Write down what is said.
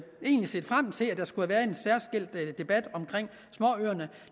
egentlig set frem til at der skulle have været en særskilt debat om småøerne